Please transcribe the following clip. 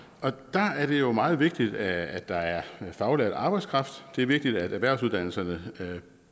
der er det jo meget vigtigt at der er faglært arbejdskraft det er vigtigt at erhvervsuddannelserne